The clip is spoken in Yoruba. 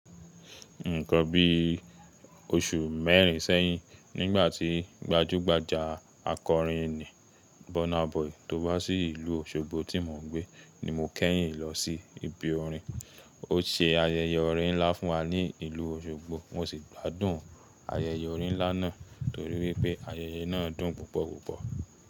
Nǹkan bí oṣù mẹ́rin sẹ́yìn, nígbà tí gbajúgbajà akọrin ni Burna Boy tó wá sí ìlú Òṣogbo tí mò ń gbé ni mo kẹ́yìn lọ sí ibi orin. Ó ṣe ayẹyẹ orin ńlá fún wa ní ìlú Òṣogbo, mo sì gbádùn ayẹyẹ orin ńlá náà torí wípé ayẹyẹ náà dùn púpọ̀ púpọ̀.